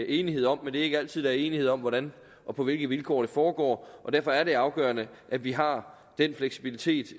enighed om men det er ikke altid er enighed om hvordan og på hvilke vilkår det skal foregå og derfor er det afgørende at vi har den fleksibilitet